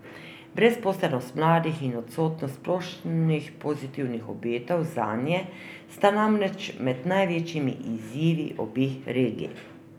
Brezposelnost mladih in odsotnost splošnih pozitivnih obetov zanje sta namreč med največjimi izzivi obeh regij.